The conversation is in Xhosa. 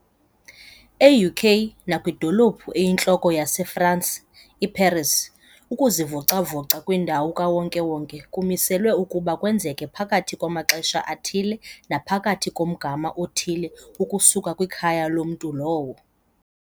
E-UK nakwidolophu eyintloko yase-Fransi, i-Paris, ukuzivoca-voca kwindawo kawonke-wonke kumiselwe ukuba kwenzeke phakathi kwamaxesha athile naphakathi komgama othile ukusuka kwikhaya lomntu lowo.